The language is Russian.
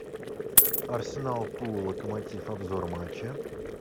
арсенал тула локомотив обзор матча